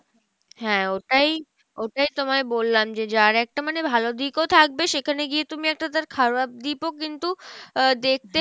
হ্যাঁ ওটাই, ওটাই তোমায় বললাম যে যার একটা মানে ভালো দিকও থাকবে সেখানে গিয়ে তুমি একটা তার খারাপ দিক ও কিন্তু আহ দেখতে